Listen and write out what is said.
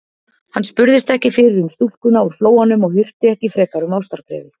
Hann spurðist ekki fyrir um stúlkuna úr Flóanum og hirti ekki frekar um ástarbréfið.